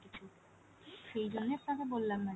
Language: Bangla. সেই জন্য আপনাকে বললাম madam ?